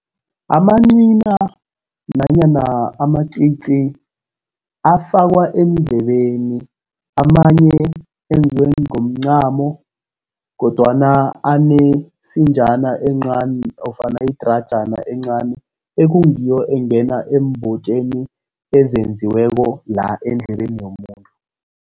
Amancina nanyana amacici afakwa eendlebeni, amanye enziwe ngomncamo, kodwana anesinjana encani, nofana idrajana encani, ekungiyo engena eembotjeni ezenziweko la endlebeni yomuntu.